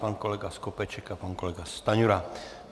Pan kolega Skopeček a pan kolega Stanjura.